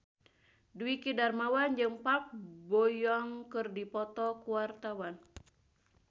Dwiki Darmawan jeung Park Bo Yung keur dipoto ku wartawan